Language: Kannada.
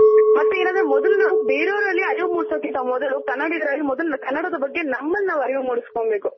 ಮತ್ ಏನಂದ್ರೆ ಮೊದ್ಲು ನಾವು ನಾವು ಬೇರೆ ಅವರಲ್ಲಿ ಅರಿವು ಮುಡ್ಸ್ಕೋದಕ್ಕಿಂತ ಮೊದ್ಲು ಕನ್ನಡಿಗರಲ್ಲಿ ಮೊದ್ಲು ಕನ್ನಡದ ಬಗ್ಗೆ ನಮ್ಮನ್ ನಾವ್ ಅರಿವ್ ಮುಡ್ಸ್ಕೊನ್ ಬೇಕು.